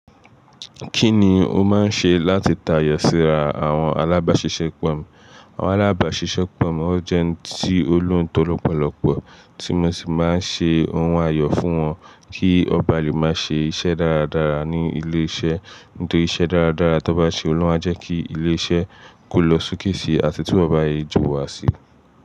Kí ni o máa ń ṣe láti tayọ síra àwọn alábàáṣiṣẹ́ pọ̀ mọ́? Àwọn alábàáṣiṣẹ́ pọ̀ mọ́ oo jẹ́ ẹni tí ó lóùntọ̀ lọ́pọ̀lọpọ̀ tí mo sì máa ń ṣe ohun àyọ̀ fún wọn kí wọ́n ba lè máa ṣe iṣẹ́ dáradára ní ilé iṣẹ́. Nítorí iṣẹ́ dáradára tí wọ́n bá ṣe, òun ni oo ma a jẹ́ kí ilé iṣẹ́ kó lọ sókè si àti tí wọ́n bá yẹ jù wá si.